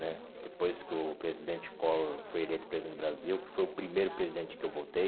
né Depois que o presidente Collor foi eleito presidente do Brasil, que foi o primeiro presidente que eu votei,